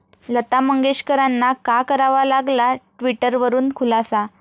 लता मंगेशकरांना का करावा लागला ट्विटरवरून खुलासा?